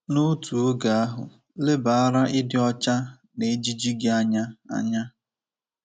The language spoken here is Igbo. N’otu oge ahụ, lebara ịdị ọcha na ejiji gị anya. anya.